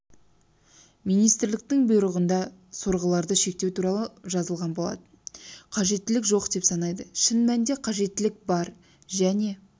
министрліктің бұйрығында сорғыларды шектеу туралы жазылған болатын қажеттілік жоқ деп санайды шын мәнінде қажеттілік бар және